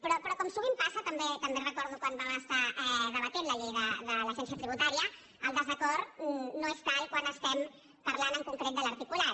però com sovint passa també recordo quan vam estar debatent la llei de l’agència tributària el desacord no és tal quan estem parlant en concret de l’articulat